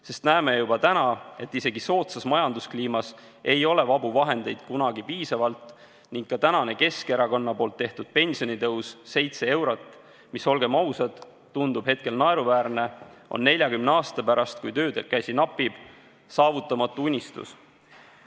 Me näeme juba täna, et isegi soodsas majanduskliimas ei ole vabu vahendeid kunagi piisavalt ning ka Keskerakonna tehtud pensionitõus 7 eurot, mis, olgem ausad, tundub hetkel naeruväärne, on 40 aasta pärast, kui töökäsi napib, saavutamatu unistus.